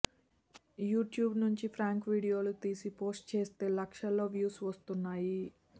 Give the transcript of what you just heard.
YouTube నుంచి prank వీడియోలు తీసి పోస్ట్ చేస్తే లక్షల్లో వ్యూస్ వస్తున్నాయి